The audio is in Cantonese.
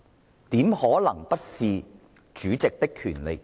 這怎可能不是主席的權責？